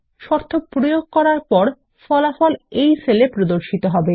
শর্ত প্রয়োগ করার পর ফলাফল এই সেলে প্রদর্শিত হবে